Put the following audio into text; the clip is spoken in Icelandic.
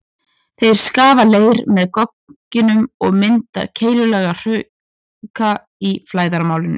Þeir skafa leir með gogginum og mynda keilulaga hrauka í flæðarmálinu.